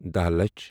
دہَ لچھ